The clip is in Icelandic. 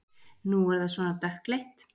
Nú er það svona dökkleitt!